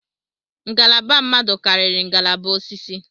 Ngalaba mmadụ karịrị ngalaba osisi